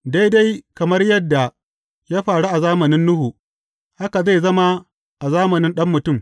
Daidai kamar yadda ya faru a zamanin Nuhu, haka zai zama a zamanin Ɗan Mutum.